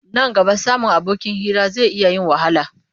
Nan gaba samun abokin hira zai iya yin wahala.